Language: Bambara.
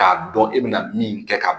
K'a dɔn e bɛna min kɛ ka